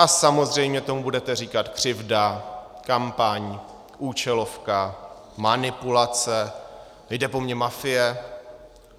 A samozřejmě tomu budete říkat křivda, kampaň, účelovka, manipulace, jde po mně mafie.